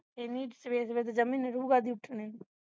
ਏਨੀ ਸਵੇਰੇ-ਸਵੇਰੇ ਜਮੀ ਨਿਰੋਗਾ ਨਹੀਂ ਉਠਣੇ ਨੂੰ